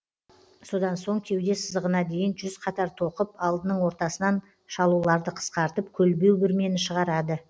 содан соң кеуде сызығына дейін жүз қатар тоқып алдының ортасынан шалуларды қысқартып көлбеу бүрмені шығарады